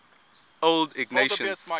old ignatians